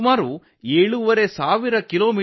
ಏಳೂವರೆ ಸಾವಿರ ಕಿಲೋಮೀಟರ್ 7500 ಕಿ